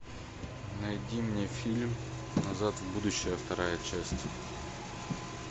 найди мне фильм назад в будущее вторая часть